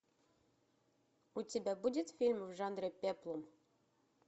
у тебя будет фильм в жанре пеплум